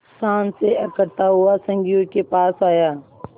शान से अकड़ता हुआ संगियों के पास आया